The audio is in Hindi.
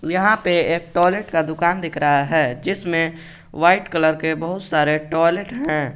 यहां पे एक टॉयलेट का दुकान दिख रहा है जिसमें व्हाइट कलर के बहुत सारे टॉयलेट हैं।